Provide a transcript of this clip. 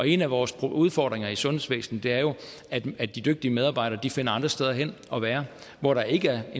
en af vores udfordringer i sundhedsvæsenet er jo at de dygtige medarbejdere finder andre steder hen hvor der ikke er